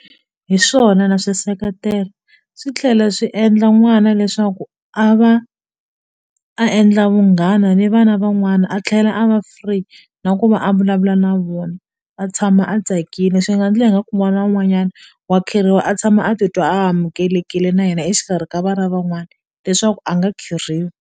Hi swona na swiseketela swi tlhela swi endla n'wana leswaku a va a endla vunghana ni vana van'wana a tlhela a va free na ku va a vulavula na vona a tshama a tsakile swi nga ndla ingaku n'wana wun'wanyana wa a tshama a titwa a amukelekile na yena exikarhi ka vana van'wana leswaku a nga .